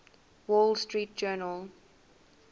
wall street journal